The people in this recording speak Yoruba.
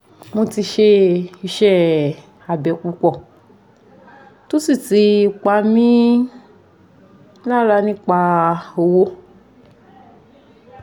mo ti ṣe iṣẹ abẹ pupọ to si ti pa mi lara nipa owo